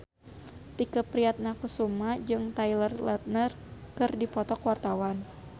Tike Priatnakusuma jeung Taylor Lautner keur dipoto ku wartawan